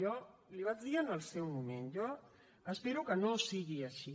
jo l’hi vaig dir en el seu moment espero que no sigui així